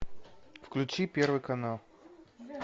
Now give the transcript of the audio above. включи первый канал